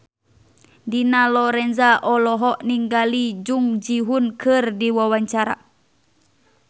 Dina Lorenza olohok ningali Jung Ji Hoon keur diwawancara